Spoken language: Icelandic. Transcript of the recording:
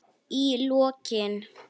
Í lokin.